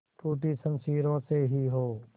टूटी शमशीरों से ही हो